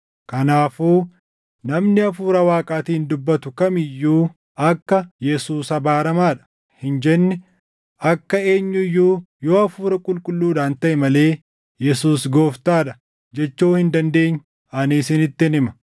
Kanaafuu namni Hafuura Waaqaatiin dubbatu kam iyyuu akka, “Yesuus abaaramaa dha” hin jenne, akka eenyu iyyuu yoo Hafuura Qulqulluudhaan taʼe malee, “Yesuus Gooftaa dha” jechuu hin dandeenye ani isinittin hima.